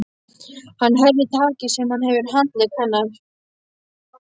Hann herðir takið sem hann hefur á handlegg hennar.